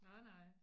Nej nej